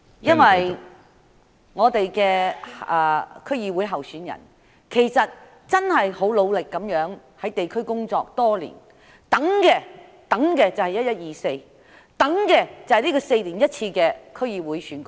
民建聯的區議會候選人真的很努力在地區工作了多年，他們等的就是11月24日，等這4年一次的區議會選舉。